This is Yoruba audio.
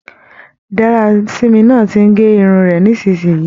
Darasimi náà tí n gé irun rẹ nisinyii.